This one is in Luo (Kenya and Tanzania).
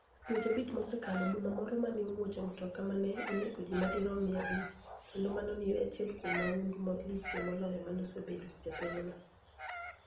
Dweche abich mosekalo, boma moro ma ni e omuoch e mtoka ni e oni ego ji ma dirom mia abich, kenido mano ni e eni achiel kuom mahunidu malichie moloyo ma nosebedoe e piny no.